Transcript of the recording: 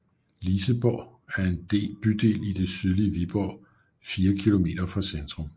Liseborg er en bydel i det sydlige Viborg 4 km fra centrum